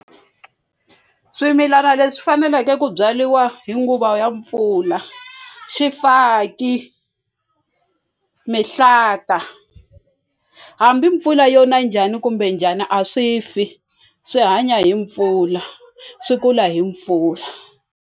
Swimilana leswi faneleke ku byariwa hi nguva ya mpfula, xifaki mihlata hambi mpfula yo na njhani kumbe njhani a swi fi swi hanya hi mpfula swi kula hi mpfula.